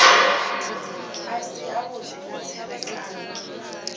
a si avhudi na tserekano